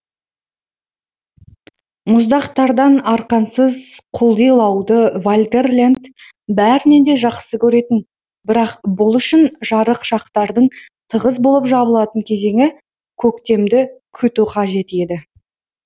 мұздақтардан арқансыз құлдилауды вальтер лент бәрінен де жақсы көретін бірақ бұл үшін жарық шақтардың тығыз болып жабылатын кезеңі көктемді күту қажет еді